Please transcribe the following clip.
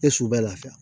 E su bɛ lafiya